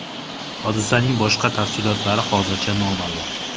Hodisaning boshqa tafsilotlari hozircha noma’lum.